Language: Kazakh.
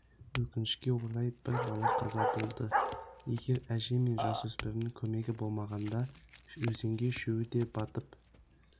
өкінішке орай бір бала қаза болды егер әже мен жасөспірімнің көмегі болмағанда өзенге үшеуі де батып